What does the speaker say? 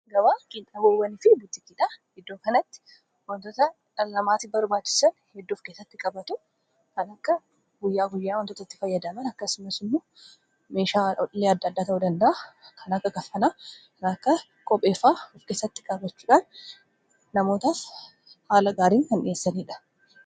aaaga wakiin dhawoowwani fi butikiidha iddoo kanatti wantoota dhaallamaati barbaachisan heddo ofkeessatti qabatu kanakka guyyaa guyyaa wantootatti fayyadaman akkasuma sinmu meeshaa ollee adda adda ta 'uu danda'a kana akka kaffanaa kana akka qopheefaa ufkeessatti kaabachuudhaan namoota haala gaariin han dhiyessaniidha